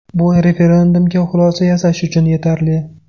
Bu referendumga xulosa yasash uchun yetarli.